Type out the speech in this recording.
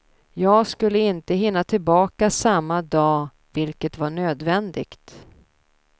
Jag skulle inte hinna tillbaka samma dag vilket var nödvändigt.